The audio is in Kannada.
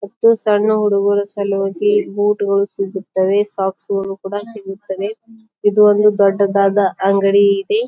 ಮತ್ತು ಸಣ್ಣ ಹುಡುಗ್ರು ಸಲುವಾಗಿ ಬುಟ್ ಗಳು ಸಿಗುತ್ತವೆ ಸಾಕ್ಸ್ ಗಳು ಕೂಡ ಸಿಗುತ್ತವೆ. ಇದು ಒಂದು ದೊಡ್ಡದಾದ ಅಂಗಡಿ ಇದೆ.